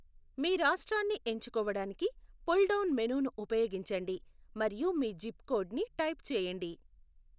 మీ రాష్ట్రాన్ని ఎంచుకోవడానికి pull down మెనూను ఉపయోగించండి, మరియు మీ జిప్ కోడ్ ని టైప్ చేయండి.